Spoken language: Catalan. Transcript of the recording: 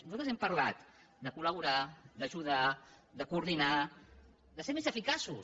nosaltres hem parlat de collaborar d’ajudar de coordinar de ser més eficaços